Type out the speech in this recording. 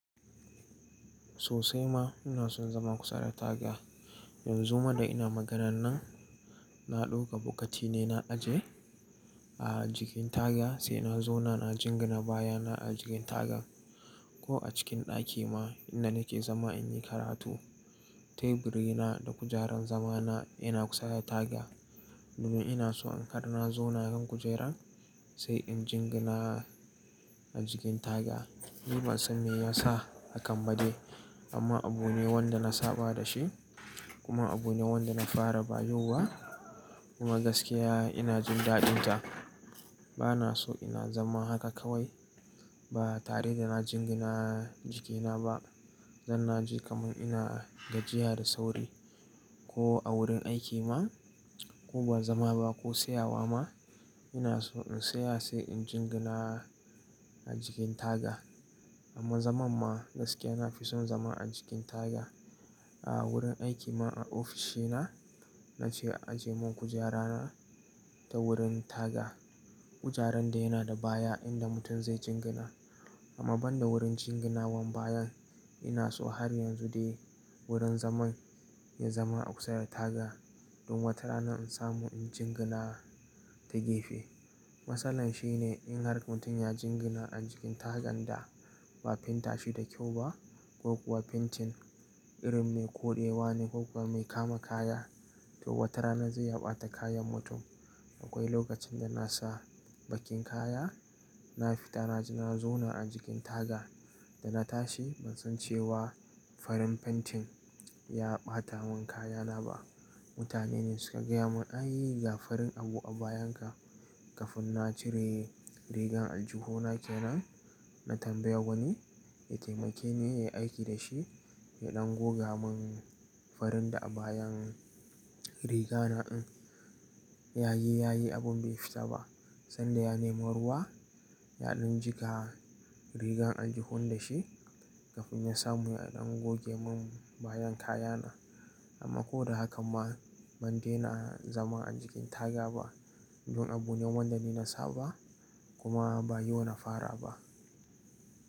Sosai ma ina son zama kusa da taga. Yanzu ma da ina maganan nan, na ɗauka bokati ne na aje a jikin taga sai na zauna na jingina baya na a jikin taga. Ko a cikin ɗaki ma inda nake zama in yi karatu. Teburi na da kujerar zama na ina kusa da taga. Domin ina so in ga na zauna kan kujerar sai in jingina a jikin taga. Ni ban san me ya sa hakan ba dai amma abu ne wanda na saba da shi kuma abu ne wanda na fara ba yau ba kuma gaskiya ina jin daɗin ta. Bana so ina zama haka kawai ba tare da na jingina jiki na ba. Zan naje kamar ina gajiya da sauri ko a wurin aiki ma ko ba zama ba ko tsayawa ma ina so in tsaya sai in jingina a jikin taga. Amma zaman ma gaskiya na fi son zama a jikin taga. A wurin aiki ma a ofishi na, na ce a ajiye mun kujera na ta wurin taga. Kujerar da yana da baya inda mutum zai jingina. Amma ban da wurin jinginawan bayan, ina so har yanzu dai wurin zaman ya zama a kusa da taga. Domin wata rana in samu in jingina ta gefe. Matsalar shi ne in har mutum ya jingina a jikin tagan da ba fenta shi da kyau ba ko kuwa fentin irin mai koɗewa ne ko kuwa mai kama kaya, to wata rana zai ɓata kayan mutum. Akwai lokacin da na sa baƙin kaya, na fita na zauna a jikin taga. Da na tashi ban san cewa farin fentin ya ɓata mun kaya na ba. Mutane ne suka gaya mun "ai gafarin abu a bayan ka". Kafin na cire rigan aljihu na ke nan, na tambaya wani ya taimake ne ya yi aiki da shi ya ɗan goga mun farin da a bayan riga na in. Yayi, yayi abun bai fita ba sanda ya nemo ruwa yaɗan jika riga aljihun da shi. Kafin ya samu ya ɗan goge mun bayan kaya na. Amma ko da haka ma ban daina zama a jikin taga ba. Don abu ne wanda ni na saba kuma ba yau na fara ba.